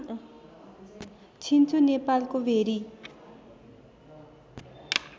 छिन्चु नेपालको भेरी